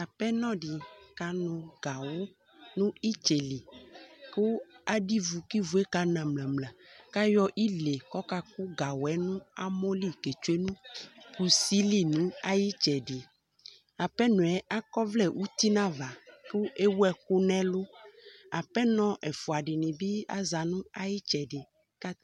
Apenɔ dɩ kanʋ gawʋ nʋ ɩtsɛ li kʋ adʋ ivu kʋ ivu yɛ kana mlǝ-mlǝ kʋ ayɔ ile kʋ ɔkakʋ gawʋ yɛ nʋ amɔ li ketsue nʋ kusi li nʋ ayʋ ɩtsɛdɩ Apenɔ yɛ akɔ ɔvlɛ uti nʋ ava kʋ ewu ɛkʋ nʋ ɛlʋ Apenɔ ɛfʋa dɩnɩ bɩ aza nʋ ayʋ ɩtsɛdɩ kʋ